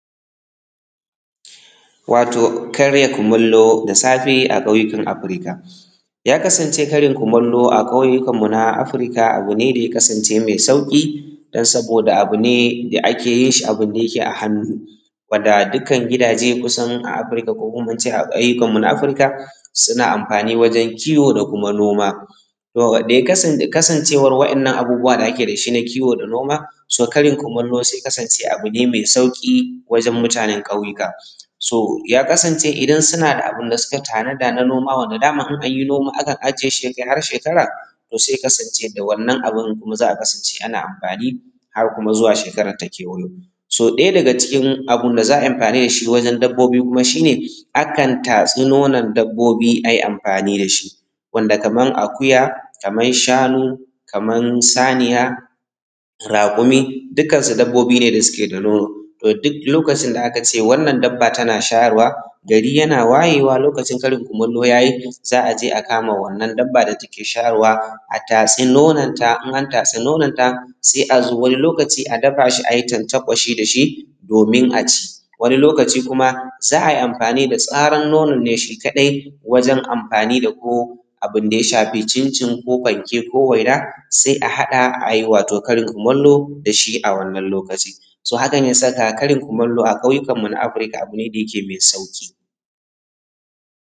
Karya kumallo da safe a ƙauyuka Africa ya kasance karya kumallo a ƙauyukanmu na Africa abu ne mai sauƙi don saboda abu ne da ake a hannu wanda dukkan gidaje a Africa ko a ƙauyukanmu na Africa suna anfani wajen kiwo da kuma noma. Kasancewar waɗannan abubuwan da ake da su na kiwo da noma, ya sa karin kumallo ya kasance da sauƙi wajen mutanen ƙauyuka. So ya kasance idan suna da abinda suka tanada na noma wanda daama in an yi noma akan aje ya kai har shekara, so sai ya kasance da wannan abin kuma ake anfani har zuwa shekara ta kewayo. So ɗaya daga cikin abinda za a yi anfani da shi wajen dabbobi kuma shi ne akan tatsi nonon dabbobi ai anfani da shi wanda kaman akuya kaman shanu kaman raƙuki dukansu dabbobi ne da suke da nono. So duk lokacin da aka ce wannan dabba tana shayarwa gari yana wayewa lokacin karin kumallo ya yi za a je a kama wannan dabba da take shayarwa, a tatsi nononta, in aka taatsi nononta. Sai a zoo wani lokaci a dafa shi a yi tantakwashi da shi domin a ci. Wani lokaci kuma za a yi anfani da tsuran nonon ne shi kaɗai wajen anfani da ko abinda ya shaafi cincin ko fanke ko waina. Sai a haɗa a yi wato karin kumallo da shi a wannan lokaci. So hakan ya saka karin kumallo a ƙauyukanmu na Africa abu ne da ya ke mai sauƙi.